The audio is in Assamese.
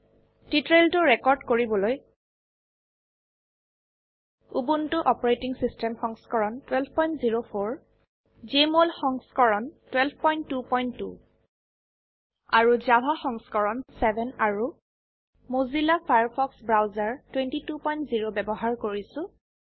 টিউটোৰিয়েলটো ৰেকৰ্ড কৰিবলৈ উবুন্টু অচ সংস্কৰণ 1204 জেএমঅল সংস্কৰণ 1222 জাভা সংস্কৰণ 7 আৰু মোজিলা ফায়াৰফক্স ব্ৰাউজাৰ 220 ব্যবহাৰ কৰিছো